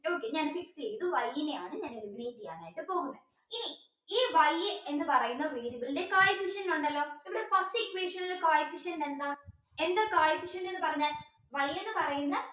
okay ഞാൻ fix ചെയ്തു Y നെയാണ് ഞാൻ eliminate ചെയ്യാൻ ആയിട്ട് പോകുന്നത് ഇനി ഈ Y എന്ന് പറയുന്നത് variable ന്റെ ഉണ്ടല്ലോ ഇവിടെ first equation ൽ co efficient എന്താ എന്താ എന്ന് പറഞ്ഞാൽ എന്ന് പറയുന്ന